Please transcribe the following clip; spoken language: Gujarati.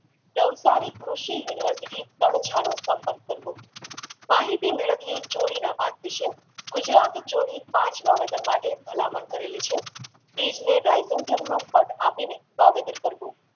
નવસારીકૃષિ unniversity પાર છાંયો પરિપત કરો માહિતી મેલાવિયે જોરીનાં પાક વિશે ગુજરાત જોરી પાંચ વાવેતર માટે ભલામણ કરી છે બીજને આપીને વાવેતર કરવું